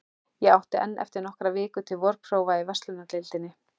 Ég átti enn eftir nokkrar vikur til vorprófa í verslunardeildinni.